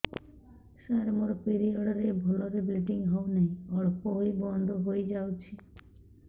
ସାର ମୋର ପିରିଅଡ଼ ରେ ଭଲରେ ବ୍ଲିଡ଼ିଙ୍ଗ ହଉନାହିଁ ଅଳ୍ପ ହୋଇ ବନ୍ଦ ହୋଇଯାଉଛି